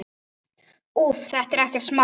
Úff, þetta er ekkert smá.